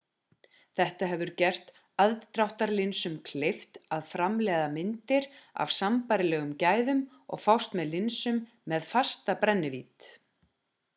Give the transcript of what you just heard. þetta hefur gert aðdráttarlinsum kleift að framleiða myndir af sambærilegum gæðum og fást með linsum með fasta brennivídd